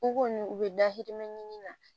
U ko nin u bɛ da hirimɛ ɲini na